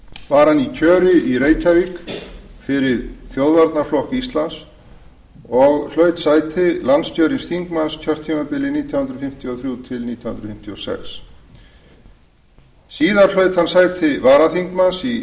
var hann í kjöri í reykjavík fyrir þjóðvarnarflokk íslands og hlaut sæti landskjörins þingmanns kjörtímabilið nítján hundruð fimmtíu og þrjú til nítján hundruð fimmtíu og sex síðar hlaut hann sæti varaþingmanns í